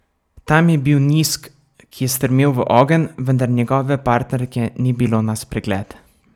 Tam je bil Nisk, ki je strmel v ogenj, vendar njegove partnerke ni bilo na spregled.